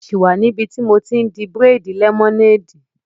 Ṣé o sì wà níbi tí mo ti n di bírèèdì lẹ́mọ́néèdì?